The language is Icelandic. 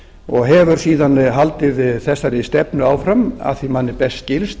og hefur síðan haldið þessari stefnu áfram að því manni best skilst